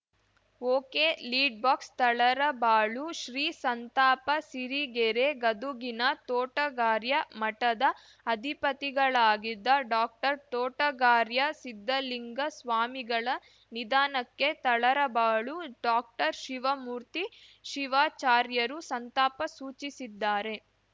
ಒಕೆಲೀಡ್‌ ಬಾಕ್ಸ ತಳರಬಾಳು ಶ್ರೀ ಸಂತಾಪ ಸಿರಿಗೆರೆ ಗದುಗಿನ ತೋಟಗಾರ‍್ಯ ಮಠದ ಅಧಿಪತಿಗಳಾಗಿದ್ದ ಡಾಕ್ಟರ್ ತೋಟಗಾರ‍್ಯ ಸಿದ್ಧಲಿಂಗ ಸ್ವಾಮಿಗಳ ನಿಧನಕ್ಕೆ ತರಳಬಾಳು ಡಾಕ್ಟರ್ ಶಿವಮೂರ್ತಿ ಶಿವಾಚಾರ್ಯರು ಸಂತಾಪ ಸೂಚಿಸಿದ್ದಾರೆ